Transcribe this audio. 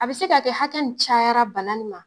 A bɛ se k'a kɛ hakɛ nin cayara bana ni ma.